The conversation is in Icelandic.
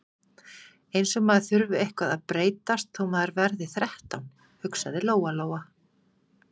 Eins og maður þurfi eitthvað að breytast þó maður verði þrettán, hugsaði Lóa- Lóa.